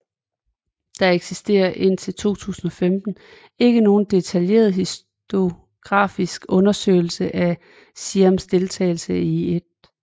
Der eksisterer indtil 2015 ikke nogen detaljeret historiografisk undersøgelse af Siams deltagelse i 1